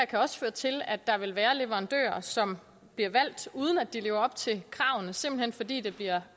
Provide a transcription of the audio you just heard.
kan også føre til at der vil være leverandører som bliver valgt uden at de lever op til kravene simpelt hen fordi det bliver